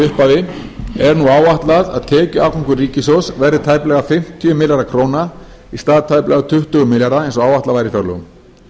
upphafi er nú áætlað að tekjuafgangur ríkissjóðs verði tæplega fimmtíu milljarðar króna í stað tæplega tuttugu milljarða eins og áætlað var í fjárlögum